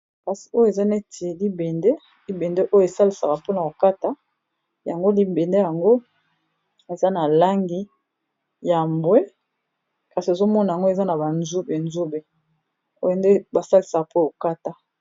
kasi oyo eza neti libende libende oyo esalisaka mpo na kokata yango libende yango eza na langi ya mbwe kasi ezomona yango eza na banzube nzube oyo nde basalisaka mpo kokata